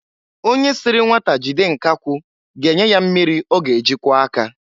Onye siri nwata jide nkakwụ ga-enye ya mmịrị ọ ga-eji kwọọ aka.